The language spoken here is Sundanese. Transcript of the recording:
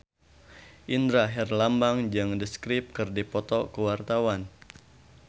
Indra Herlambang jeung The Script keur dipoto ku wartawan